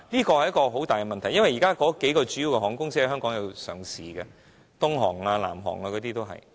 這是一個大問題，因為國內數間主要航空公司已在香港上市，如東航、南航等。